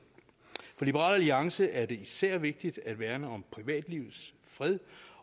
for liberal alliance er det især vigtigt at værne om privatlivets fred